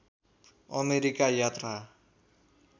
America यात्रा